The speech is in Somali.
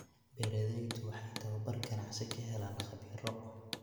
Beeraleydu waxay tababar ganacsi ka helaan khabiiro.